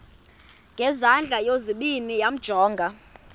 ngezandla zozibini yamjonga